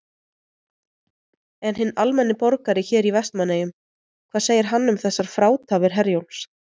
En hinn almenni borgari hér í Vestmannaeyjum, hvað segir hann um þessar frátafir Herjólfs?